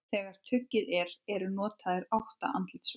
Þegar tuggið er eru notaðir átta andlitsvöðvar.